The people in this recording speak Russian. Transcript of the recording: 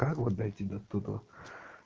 как вот дойти до туда